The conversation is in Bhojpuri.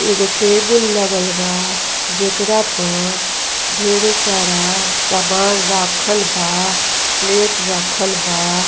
एगो टेबुल लागल बा। जेकरा पर ढेरे सारा सबल राखल बा। प्लेट राखल बा --